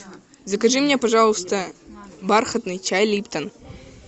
закажи мне пожалуйста бархатный чай липтон